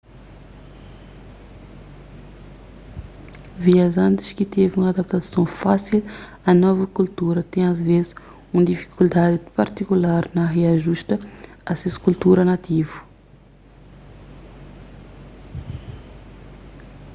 viajantis ki tevi un adaptason fásil a novu kultura ten asvês un difikuldadi partikular na riajusta a ses kultura nativu